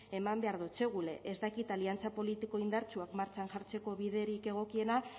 eman behar dotsegule ez dakit aliantza politiko indartsuak martxan jartzeko biderik egokiena